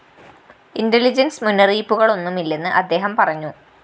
intelligence മുന്നറിയിപ്പുകളൊന്നുമില്ലെന്ന് അദ്ദേഹം പറഞ്ഞു